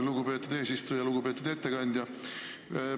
Lugupeetud ettekandja!